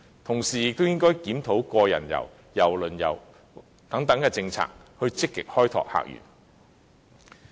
同時，當局也應檢討個人遊、郵輪旅遊等政策，積極開拓客源。